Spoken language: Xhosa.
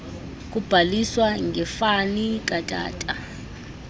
kubhaliswa ngefani katata